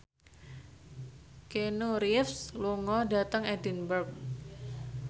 Keanu Reeves lunga dhateng Edinburgh